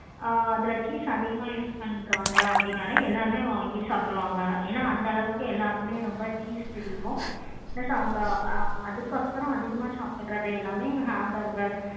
ஆஹ் அதுல cheese ரொம்ப அதிகமா use பண்றாங்க அப்படினாலே எல்லாருமே வாங்கி சாப்பிடுவாங்க. ஏன அந்த அளவுக்கு எல்லாருக்குமே ரொம்ப cheese பிடிக்கும் plus அவங்க அதுக்கு அப்பறம் அதிகமா சாப்பிடுறது எல்லாமே ham burger